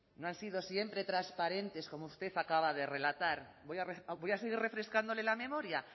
no han sido siempre transparentes como usted acaba de relatar voy a seguir refrescándole la memoria